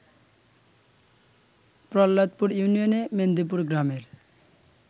প্রহ্লাদপুর ইউনিয়নে মেন্দিপুর গ্রামের